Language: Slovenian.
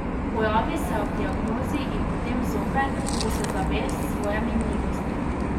Pojavi se ob diagnozi in potem zopet, ko se zaveš svoje minljivosti.